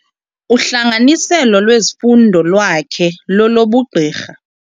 Uhlanganiselo lwezifundo lwakhe lolobugqirha.